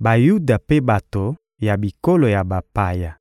Bayuda mpe bato ya bikolo ya bapaya